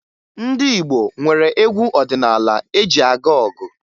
Ndị Igbo nwere egwu ọdịnaala eji aga ọgụ